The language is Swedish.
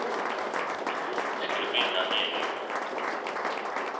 Vi skulle bilda en egen grupp.